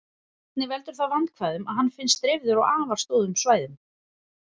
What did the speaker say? Einnig veldur það vandkvæðum að hann finnst dreifður á afar stórum svæðum.